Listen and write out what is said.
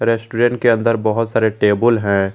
Restaurant के अंदर बहुत सारे टेबल हैं।